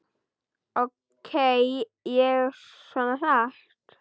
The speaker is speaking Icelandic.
Ók ég svona hratt?